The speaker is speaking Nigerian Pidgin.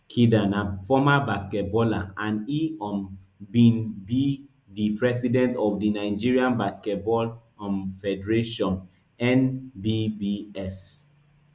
kida na former basketballer and e um bin be di president of di nigerian basketball um federationnbbf